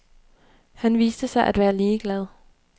Han viste sig at være ligeglad.